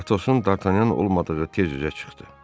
Atosun Dartanyan olmadığı tez üzə çıxdı.